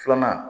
Filanan